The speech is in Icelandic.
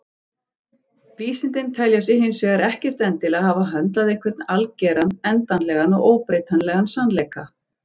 Vísindin telja sig hins vegar ekkert endilega hafa höndlað einhvern algeran, endanlegan og óbreytanlegan sannleika.